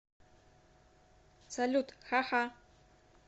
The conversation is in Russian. салют ха ха